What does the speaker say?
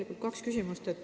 Mul on kaks küsimust.